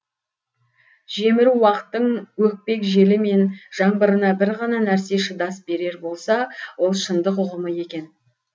жемір уақыттың өкпек желі мен жаңбырына бір ғана нәрсе шыдас берер болса ол шындық ұғымы екен